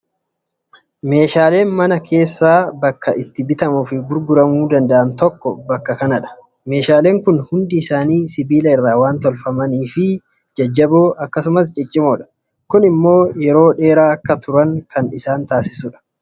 Meeshaaleen mana keessaa bakki itti bitamuu fi gurguramuu danda'an tokko bakka kanadha. Meeshaaleen kun hundi isaanii sibiila irraa waan tolfamanii jajjaboo fi ciccimoodha. Kun immoo yeroo dheeraa akka turan kan taasisudha.